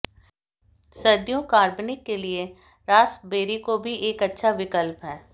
सर्दियों कार्बनिक के लिए रास्पबेरी को भी एक अच्छा विकल्प है